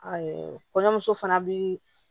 kɔɲɔmuso fana bi